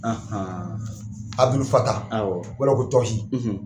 Abudulu fata, awɔ, o b'a la ko togi